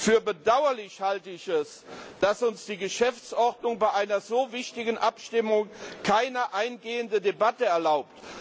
Für bedauerlich halte ich es, dass uns die Geschäftsordnung bei einer so wichtigen Abstimmung keine eingehende Debatte erlaubt.